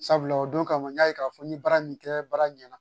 Sabula o don kama n y'a ye k'a fɔ ni baara min kɛ baara ɲɛna